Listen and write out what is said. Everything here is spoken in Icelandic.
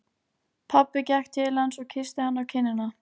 Pabbi gekk til hans og kyssti hann á kinnina.